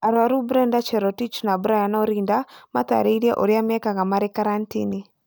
Arwaru Brenda Cherotich na Brian Orinda matarĩrie urĩa mekaga marĩ karantini